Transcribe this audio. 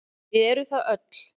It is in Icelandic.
Við erum það öll.